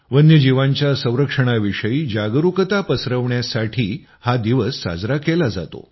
वन्यजीवांच्या संरक्षणाविषयी जागरूकता पसरवण्यासाठी हा दिवस साजरा केला जातो